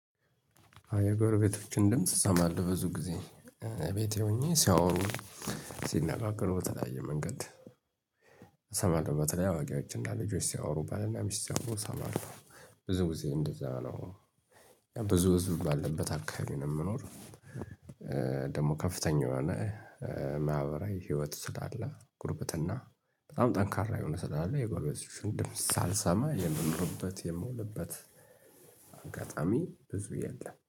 የጎረቤቶችን ድምጽ ሰማለሁ ብዙ ጊዜ ቤቴ ሆኜ ሲያወሩ ሲነጋገሩ በተለያየ መንገድ። እሰማለሁ በተለይ አዋቂዎችን እና ልጆች ሲያወሩ ባልና ሚስት ሲያወሩ እሰማለሁ። ብዙ ጊዜ እንደዛ ነው ብዙ ህዝብ ባለበት አካባቢ ነው የምኖር። ደግሞ ከፍተኛ የሆነ ማህበራዊ ህይወት ስላለ ጉርብትና። በጣም ጠንካራ የሆነ ስላለ የጎረቤቶችን ድምጽ ሳልሰማ የምኖርበት የምውልበት አጋጣሚ ብዙ የለም